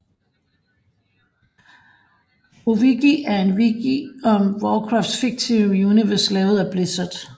WoWWiki er en wiki om Warcrafts fiktive univers lavet af Blizzard